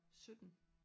17